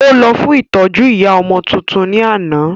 Ó lọ fún ìtọ́jú ìyá ọmọ tuntun ní àná